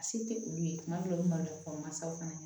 A se tɛ olu ye tuma dɔw la maloya kɔlɔlɔ masaw fana ye